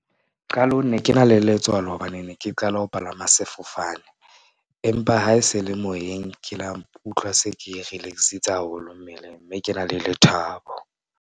Qalong ne ke na le letswalo hobane ne ke qala ho palama sefofane. Empa ha e se le moyeng, ke la utlwa se ke relax-itse haholo mmeleng mme ke na le lethabo.